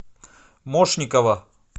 мошникова